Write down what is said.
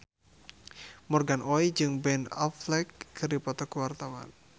Morgan Oey jeung Ben Affleck keur dipoto ku wartawan